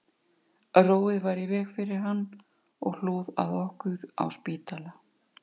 Róið var í veg fyrir hann og hlúð að okkur á spítala